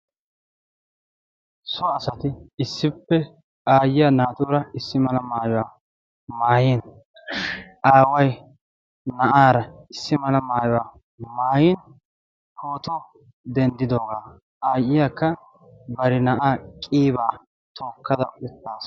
so asati issippe aayyiya naatuura issi mala maayuwaa maayin aawai na7aara issi mala maayuwaa maayin pootoo denddidoogaa aayyiyaakka bari na7aa qiibaa tookkada uttaasu.